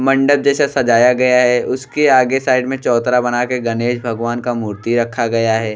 मंडप जैसा सजाया गया है। उसके आगे साइड में चौतरा बना के गणेश भगवान का मूर्ति रखा गया है।